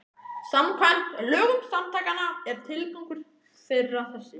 Samkvæmt lögum samtakanna er tilgangur þeirra þessi